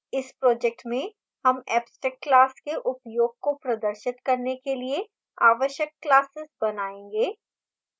इस project में हम abstract classes के उपयोग को प्रदर्शित करने के लिए आवश्यक classes बनाएँगे